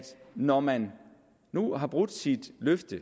når man nu har brudt sit løfte